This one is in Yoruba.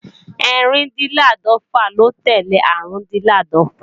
Ẹ́rìndínláàdọ́fà ló tẹ́lẹ̀ Árùndinláàdọ́fà